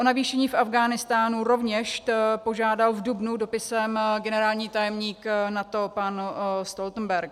O navýšení v Afghánistánu rovněž požádal v dubnu dopisem generální tajemník NATO pan Stoltenberg.